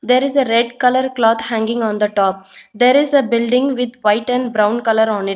there is a red colour cloth hanging on the top there is a building with white and brown colour on it.